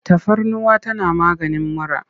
Tafarnuwa tana maganin mura.